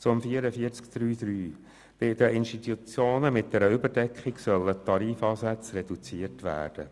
Zur Massnahme 44.3.3: Bei Institutionen mit einer Überdeckung sollen die Tarifansätze reduziert werden.